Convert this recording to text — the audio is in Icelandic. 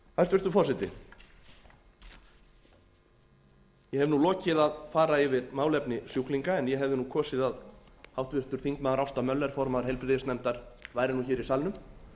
hæstvirtur forseti ég hef nú lokið að fara yfir málefni sjúklinga en ég hefði kosið að háttvirtur þingmaður ásta möller formaður heilbrigðisnefndar væri hér í salnum